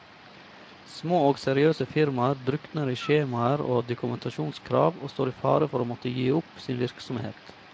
Små og seriøse firmaer drukner i skjemaer og dokumentasjonskrav, og står i fare for å måtte gi opp sin virksomhet.